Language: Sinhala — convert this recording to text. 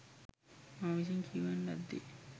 මා විසින් කියවන ලද්දේ